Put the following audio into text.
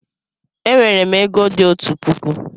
E nwere m ego di otu puku